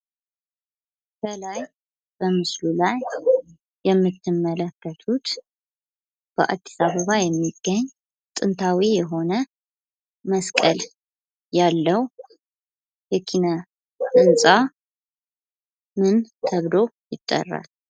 ከላይ በምስሉ ላይ የምትመለከቱት በአዲስ አበባ የሚገኝ ጥንታዊ የሆነ መስቀል ያለው የኪነ ህንጻ ምን ተብሎ ይጠራል?